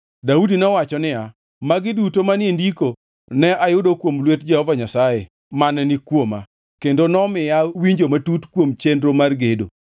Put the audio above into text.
Daudi nowacho niya, “Magi duto manie ndiko ne ayudo kuom lwet Jehova Nyasaye mane ni kuoma, kendo nomiya winjo matut kuom chenro mar gedo.”